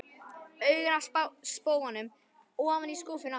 Augun af spóanum ofan í skúffuna aftur.